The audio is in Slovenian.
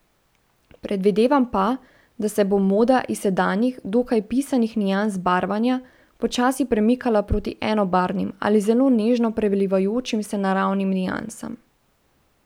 Predvidevam pa, da se bo moda iz sedanjih, dokaj pisanih nians barvanja, počasi premikala proti enobarvnim, ali zelo nežno prelivajočim se naravnim niansam.